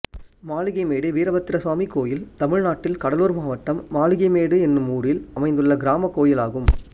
மாளிகை மேடு வீரபத்திரசுவாமி கோயில் தமிழ்நாட்டில் கடலூர் மாவட்டம் மாளிகை மேடு என்னும் ஊரில் அமைந்துள்ள கிராமக் கோயிலாகும்